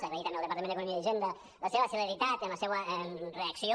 agrair també al departament d’economia i hisenda la seva celeritat en la seua reacció